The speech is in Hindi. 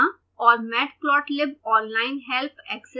और matplotlib ऑनलाइन हेल्प ऐक्सेस करना